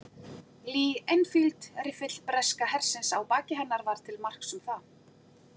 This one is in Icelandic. Lee Enfield- riffill breska hersins á baki hennar var til marks um það.